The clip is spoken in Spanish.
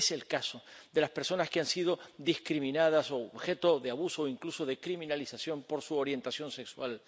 Es el caso de las personas que han sido discriminadas, u objeto de abuso, e incluso de criminalización, por su orientación sexual.